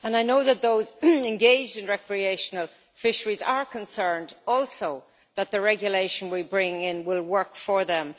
I know that those engaged in recreational fisheries are concerned also that the regulation we bring in will work for them.